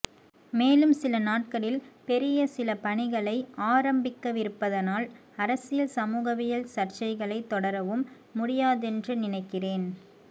மேலும் சில நாட்களில் பெரிய சில பணிகளை ஆரம்பிக்கவிருப்பதனால் அரசியல் சமூகவியல் சர்ச்சைகளைத் தொடரவும் முடியாதென்று நினைக்கிறேன்